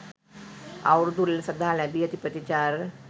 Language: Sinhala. අවුරුදු උළෙලසඳහා ලැබී ඇති ප්‍රතිචාර.